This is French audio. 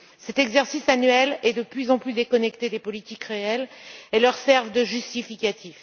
Cet exercice annuel est de plus en plus déconnecté des politiques réelles et leur sert de justificatif.